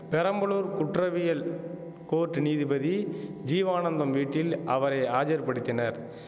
பெரம்பலூர் குற்றவியல் கோர்ட் நீதிபதி ஜீவானந்தம் வீட்டில் அவரை ஆஜர்படுத்தினர்